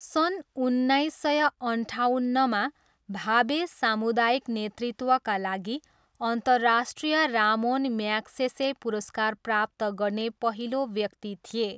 सन् उन्नाइस सय अन्ठाउन्नमा भाभे सामुदायिक नेतृत्वका लागि अन्तर्राष्ट्रिय रामोन म्याग्सेसे पुरस्कार प्राप्त गर्ने पहिलो व्यक्ति थिए।